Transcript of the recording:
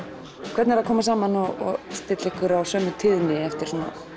hvernig er að koma saman og stilla ykkur á sömu tíðni eftir